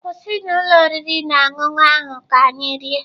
Kwụsị na ụlọ oriri na ọṅụṅụ ahụ ka anyị rie!